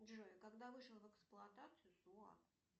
джой когда вышел в эксплуатацию суап